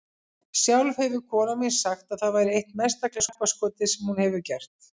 Sjálf hefur konan mín sagt að það væri eitt mesta glappaskotið sem hún hefur gert.